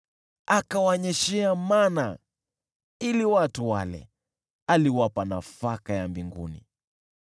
akawanyeshea mana ili watu wale; aliwapa nafaka ya mbinguni.